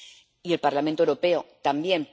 Y el Parlamento Europeo también.